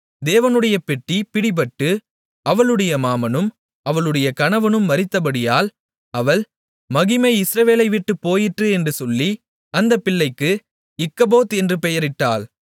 தேவனுடைய பெட்டி பிடிபட்டு அவளுடைய மாமனும் அவளுடைய கணவனும் மரித்தபடியால் அவள் மகிமை இஸ்ரவேலை விட்டுப் போயிற்று என்று சொல்லி அந்தப் பிள்ளைக்கு இக்கபோத் என்று பெயரிட்டாள்